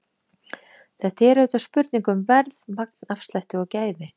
Þetta er auðvitað spurning um verð, magnafslætti og gæði.